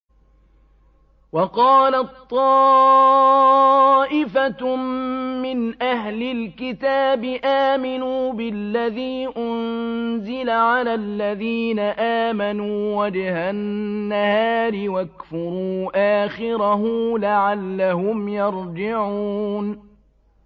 وَقَالَت طَّائِفَةٌ مِّنْ أَهْلِ الْكِتَابِ آمِنُوا بِالَّذِي أُنزِلَ عَلَى الَّذِينَ آمَنُوا وَجْهَ النَّهَارِ وَاكْفُرُوا آخِرَهُ لَعَلَّهُمْ يَرْجِعُونَ